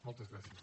moltes gràcies